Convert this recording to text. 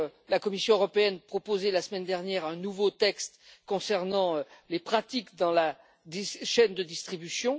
La Commission européenne a proposé la semaine dernière un nouveau texte concernant les pratiques dans la chaîne de distribution.